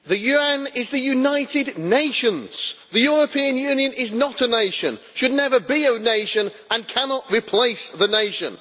Mr President, the UN is the United Nations. The European Union is not a nation, should never be a nation and cannot replace the nation.